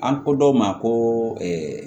An ko dɔw ma ko